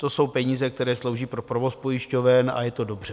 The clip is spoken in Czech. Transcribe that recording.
To jsou peníze, které slouží pro provoz pojišťoven, a je to dobře.